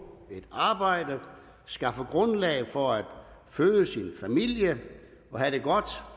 et arbejde skaffe grundlag for at føde sin familie og have det godt